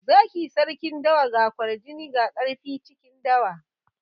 Zaki sarkin dawa. Ga kwarjini ga ƙarfi cikin dawa.